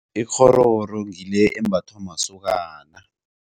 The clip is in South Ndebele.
Ikghororo ngile embathwa masokana.